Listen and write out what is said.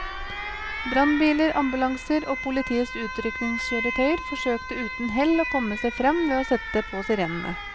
Brannbiler, ambulanser og politiets utrykningskjøretøyer forsøkte uten hell å komme seg frem ved å sette på sirenene.